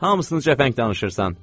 Hamısını cəfəng danışırsan!